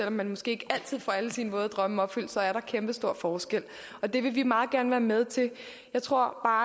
om man måske ikke altid får alle sine våde drømme opfyldt er der kæmpestor forskel og det vil vi meget gerne være med til jeg tror